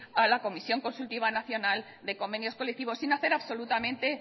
a la comisión consultiva nacional de convenios colectivos sin hacer absolutamente